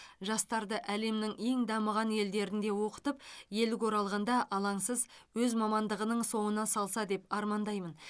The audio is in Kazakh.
жастарды әлемнің ең дамыған елдерінде оқытып елге оралғанда алаңсыз өз мамандығының соңына салса деп армандаймын